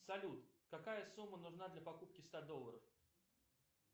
салют какая сумма нужна для покупки ста долларов